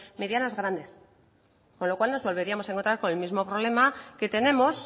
medidas grandes con lo cual nos volveríamos a encontrar con el mismo problema que tenemos